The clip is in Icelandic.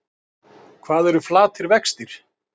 Hvað eru flatir vextir?